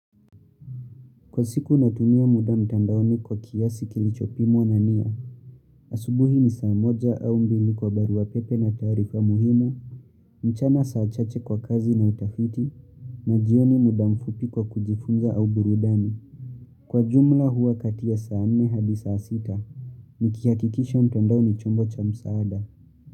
Kwa siku natunia muda mtandaoni kwa kiasi kilichopimwa na nia, asubuhi ni saa moja au mbili kwa barua pepe na taarifa muhimu, mchana saa chache kwa kazi na utafiti, na jioni muda mfupi kwa kujifunza au burudani. Kwa jumla huwa kati ya saa nne hadi saa sita, nikihakikisha mtandao ni chombo cha msaada.